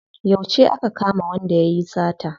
Yauce aka kama wanda yayi sata?